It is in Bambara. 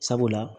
Sabula